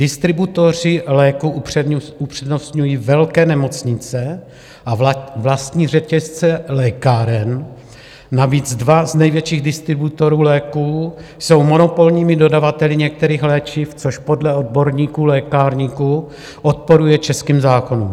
Distributoři léků upřednostňují velké nemocnice a vlastní řetězce lékáren, navíc dva z největších distributorů léků jsou monopolními dodavateli některých léčiv, což podle odborníků, lékárníků odporuje českým zákonům.